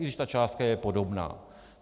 I když ta částka je podobná.